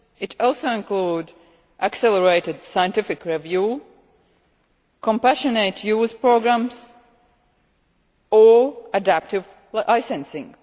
It also includes accelerated scientific review, compassionate use programmes, or adaptive licensing.